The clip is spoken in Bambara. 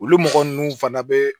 Olu mɔgɔ ninnu fana bɛ